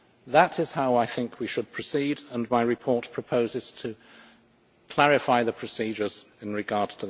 That is how I think we should proceed, and my report proposes to clarify the procedures in that regard.